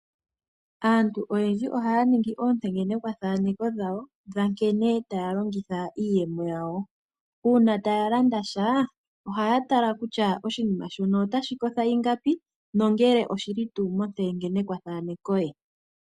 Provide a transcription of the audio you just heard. Aantu oyendji ohaya ningi oontengenekwathanekwa dhawo dhankene taya longitha iiyemo yawo. Uuna ta ya landasha oha ya tala kutya oshinima shono otashi kotha ingapi nongele oshili tuu montengenekwathanekwa ye.